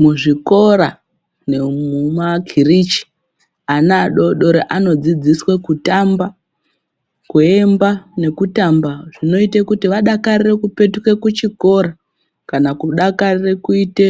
Muzvikora nemuma kirichi ana adodori anodzidziswe kutamba, kuemba nekutamba zvinoite kuti vadakarire kupetuka kuchikora kana kudakarire kuite